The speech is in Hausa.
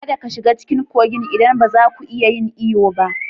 Kada ka shiga cikin kogin idan ba za ku iya yin iyo ba